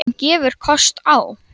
Hann gefur kost á